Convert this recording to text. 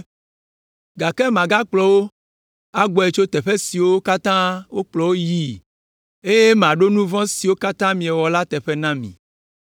Gake magakplɔ wo agbɔe tso teƒe siwo katã wokplɔ wo yii eye maɖo nu vɔ̃ siwo katã miewɔ la teƒe na mi.